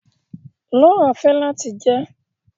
Laura fẹ lati jẹ